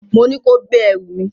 Mo ní kó gbé ẹrù mi!